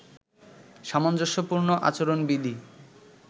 সামঞ্জস্যপূর্ণ আচরণবিধি